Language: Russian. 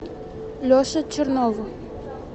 леше чернову